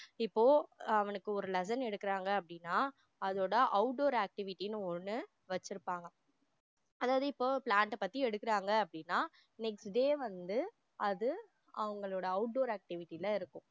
இப்போ அவனுக்கு ஒரு lesson எடுக்குறாங்க அப்டின்னா அதோட outdoor activity னு ஒன்னு வச்சிருப்பாங்க அதாவது இப்போ plant அ பத்தி எடுக்குறாங்க அப்படின்னா next day வந்து அது அவங்களோட outdoor activity ல இருக்கும்